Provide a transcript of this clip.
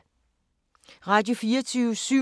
Radio24syv